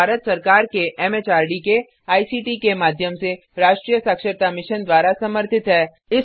यह भारत सरकार के एमएचआरडी के आईसीटी के माध्यम से राष्ट्रीय साक्षरता मिशन द्वारा समर्थित है